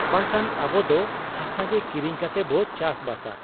ᱵᱟᱝᱠᱷᱟᱱ ᱟᱵᱚ ᱫᱚ ᱦᱟᱥᱟᱜᱮ ᱠᱤᱨᱤᱧ ᱠᱟᱛᱮᱵᱚ ᱪᱟᱥ ᱵᱟᱥᱟ ᱾'